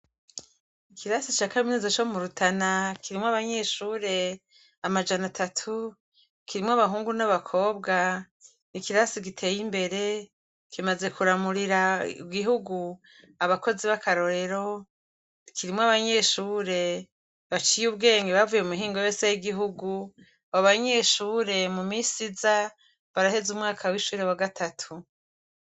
Ikirasi ca kaminuza co mu Rutana kirimwo abanyeshure amajana atatu, kirimwo abahungu n'abakobwa, n'ikirasi giteye imbere, kimaze kuramurira igihugu abakozi bakarorero, kirimwo abanyeshure baciye ubwenge bavuye mumihingo yose y'igihugu, abo banyeshure mu misi iza baraheza umwaka w'ishure wa gatatu.